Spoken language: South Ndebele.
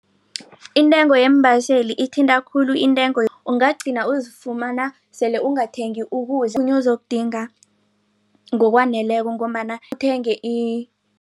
Intengo yeembaseli ithinta khulu intengo ungagcina uzifumana sele ungathengi ukudla okhunye ozokudinga ngokwaneleko ngombana uthenge